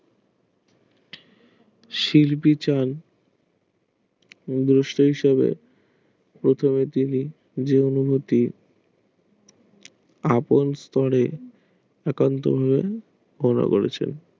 শিল্পী চায় বৈশ্য হিসাবে আদল স্তরে একান্ত